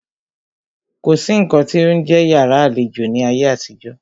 Kò sí nǹkan tí ó ń jẹ́ yàrá àlejò ní ayé àtijó.